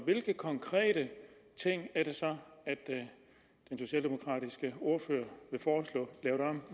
hvilke konkrete ting er det så den socialdemokratiske ordfører